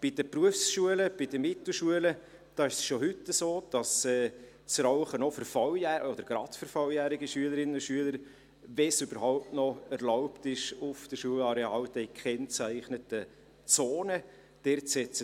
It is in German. Bei den Berufsschulen und bei den Mittelschulen ist es schon heute so, dass das Rauchen auch für – oder gerade für – volljährige Schülerinnen und Schüler, wenn es überhaupt noch erlaubt ist auf dem Schulareal, dann in den gekennzeichneten Zonen erlaubt ist.